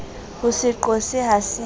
ho se qose ha se